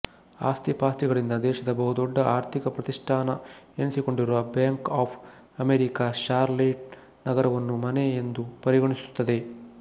ಆಸ್ತಿಪಾಸ್ತಿಗಳಿಂದ ದೇಶದ ಬಹು ದೊಡ್ಡ ಆರ್ಥಿಕ ಪ್ರತಿಷ್ಠಾನ ಎನಿಸಿಕೊಂಡಿರುವ ಬ್ಯಾಂಕ್ ಆಫ್ ಅಮೇರಿಕ ಷಾರ್ಲೆಟ್ ನಗರವನ್ನು ಮನೆ ಎಂದು ಪರಿಗಣಿಸುತ್ತದೆ